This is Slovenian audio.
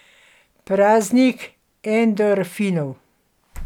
Praznik endorfinov.